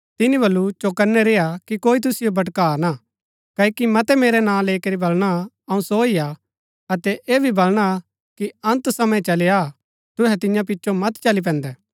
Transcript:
तिनी वलु चौकनै रेय्आ कि कोई तुसिओ भटका ना क्ओकि मतै मेरै नां लैई करी बलणा अऊँ सो ही हा अतै ऐह भी बलणा कि अन्त समा चली आ तुहै तियां पिचो मत चली पैन्दै